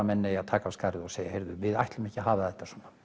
menn eigi að taka af skarið og segja heyrðu við ætlum ekki að hafa þetta svona